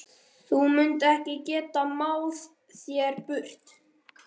Þú munt ekki geta máð þær burt.